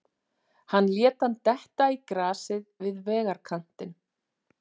Hann lét hann detta í grasið við vegarkantinn.